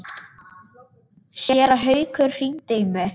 Séra Haukur hringdi í mig.